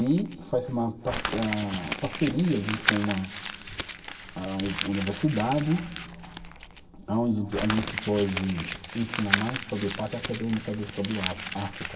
E faz uma par ah, parceria junto com a a universidade, aonde a gente pode ensinar mais sobre a parte acadêmica do sobre a, África.